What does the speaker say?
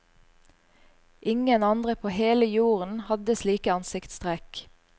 Ingen andre på hele jorden hadde slike ansiktstrekk.